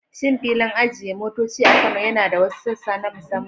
Shin filin ajiye motoci a Kano yana da wasu sassa na musamman?